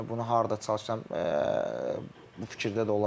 Yəni bunu harda çalışsam bu fikirdə də olacam.